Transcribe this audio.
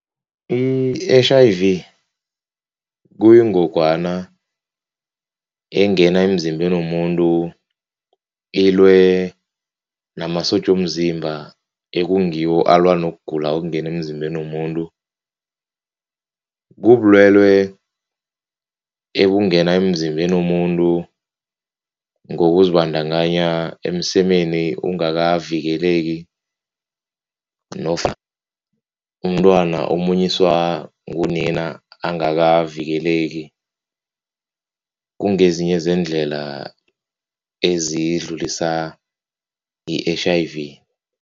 I-H_I_V kuyingogwana engena emzimbeni womuntu ilwe namasotja womzimba ekungiwo alwa nokugula okungena emzimbeni womuntu. Kubulwelwe ebungena emzimbeni womuntu ngokuzibandakanya emsemeni ungakavikeleki nofana umntwana omunyiswa ngunina angakavikeleki, kungezinye zeendlela ezidlulisa i-H_I_V.